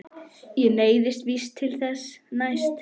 Ég neyðist víst til þess næst.